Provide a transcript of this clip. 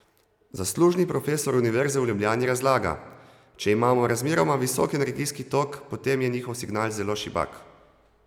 Zaslužni profesor univerze v Ljubljani razlaga: "Če imamo razmeroma visok energijski tok, potem je njihov signal zelo šibak.